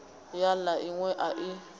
ya la inwe a i